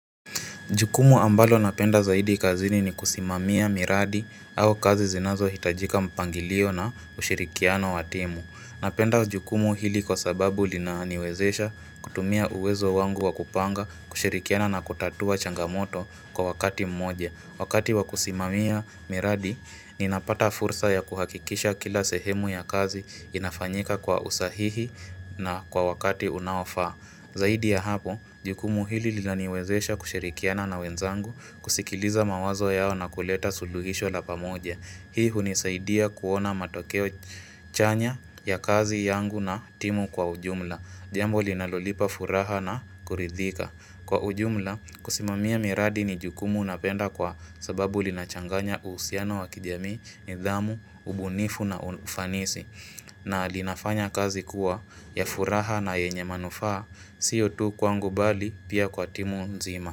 Jukumu ambalo napenda zaidi kazini ni kusimamia miradi au kazi zinazo hitajika mpangilio na ushirikiano wa timu. Napenda jukumu hili kwa sababu linaniwezesha kutumia uwezo wangu wa kupanga kushirikiana na kutatua changamoto kwa wakati mmoje. Wakati wa kusimamia miradi ninapata fursa ya kuhakikisha kila sehemu ya kazi inafanyika kwa usahihi na kwa wakati unaofaa. Zaidi ya hapo, jukumu hili linaniwezesha kushirikiana na wenzangu kusikiliza mawazo yao na kuleta suluhisho la pamoja. Hii hunisaidia kuona matokeo chanya ya kazi yangu na timu kwa ujumla. Jambo linalonipa furaha na kuridhika. Kwa ujumla, kusimamia miradi ni jukumu napenda kwa sababu linachanganya uhusiano wa kijamii, nidhamu, ubunifu na ufanisi. Na linafanya kazi kuwa ya furaha na yenye manufaa, sio tu kwangu mbali pia kwa timu nzima.